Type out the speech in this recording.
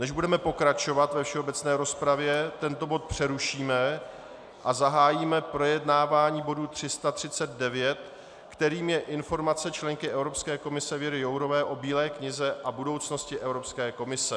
Než budeme pokračovat ve všeobecné rozpravě, tento bod přerušíme a zahájíme projednávání bodu 339, kterým je Informace členky Evropské komise Věry Jourové o Bílé knize a budoucnosti Evropské komise.